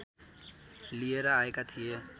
लिएर आएका थिए